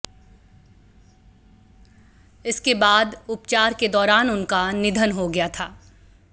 इसके बाद उपचार के दौरान उनका निधन हो गया था